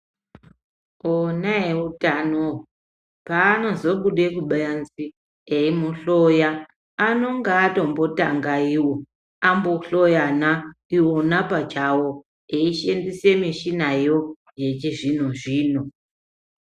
Ona eutano paanozobude kubanze eimuhloya anonge ambototanga iwo ambohloyana ona pachawo eishandise mishinayo yechizvino zvino.